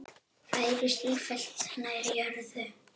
Færist sífellt nær jörðu.